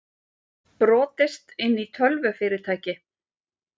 Brotist inn í tölvufyrirtæki